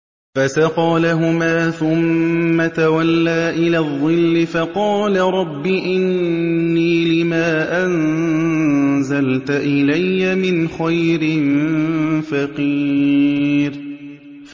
فَسَقَىٰ لَهُمَا ثُمَّ تَوَلَّىٰ إِلَى الظِّلِّ فَقَالَ رَبِّ إِنِّي لِمَا أَنزَلْتَ إِلَيَّ مِنْ خَيْرٍ فَقِيرٌ